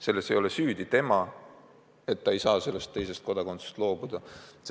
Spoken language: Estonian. Selles ei ole süüdi see laps, et ta ei saa sellest teisest kodakondsusest loobuda.